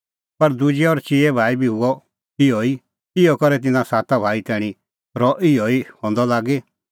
पर दुजै और चिऐ संघै बी हुअ इहअ ई इहअ करै तिन्नां साता भाई तैणीं रह इहअ ई हंदअ लागी